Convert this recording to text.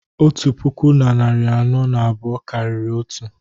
otu puku na narị anọ na abụọ karịrị otu